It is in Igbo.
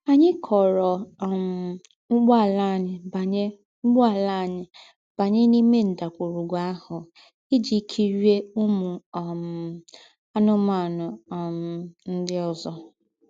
Ànyì kọ̀ọ́rọ̀ um úgbọ̀àlà ànyì bányè úgbọ̀àlà ànyì bányè n’íme ńdàgwùrùgwù àhụ̀ íjí kírie úmù um ànù́mànù um ńdị́ ózọ.